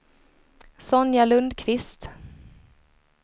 Sonja Lundquist